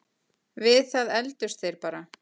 Við það efldust þeir bara.